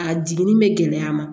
A jiginni bɛ gɛlɛya ma